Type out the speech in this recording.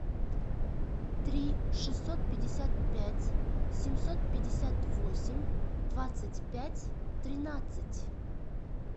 три шестьсот пятьдесят пять семьсот пятьдесят восемь двадцать пять тринадцать